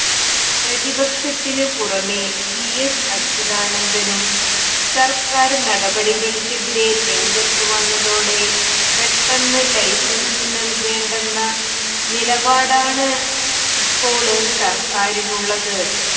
പ്രതിപക്ഷത്തിന് പുറമെ V S അച്യുതാനന്ദനും സര്ക്കാര് നടപടിക്കെതിരെ രംഗത്ത് വന്നതോടെ പെട്ടെന്ന് ലൈസന്സ് നല്കേണ്ടെന്ന നിലപാടാണ് ഇപ്പോള് സര്ക്കാറിനുള്ളത്